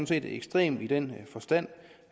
set ekstrem i den forstand